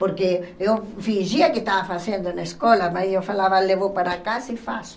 Porque eu fingia que estava fazendo na escola, mas eu falava, levo para casa e faço.